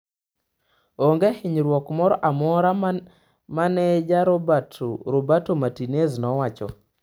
Onge hinyruok moro amora, maneja Roberto Martinez nowacho.